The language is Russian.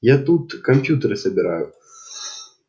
я тут компьютеры собираю